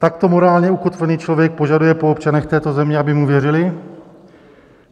Takto morálně ukotvený člověk požaduje po občanech této země, aby mu věřili?